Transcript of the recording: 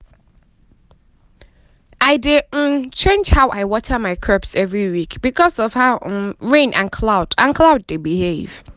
i dey um change how i water my crops every week because of how um rain and cloud and cloud dey behave.